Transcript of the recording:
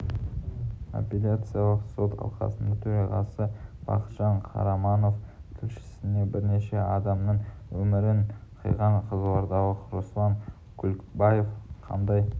апелляциялық сот алқасының төрағасы бақытжан қараманов тілшісіне бірнеше адамның өмірін қиған қызылордалық руслан күлікбаев қандай